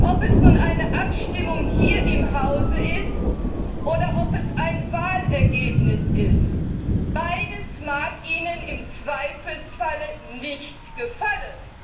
Ob es nun eine Abstimmung hier im Hause oder ein Wahlergebnis ist Beides mag Ihnen im Zweifelsfall nicht gefallen.